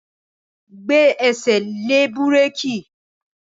Gbẹ́sẹ̀ lé búrékì!